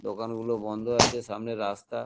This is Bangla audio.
দোকানগুলো বন্ধ আছে সামনে রাস্তা।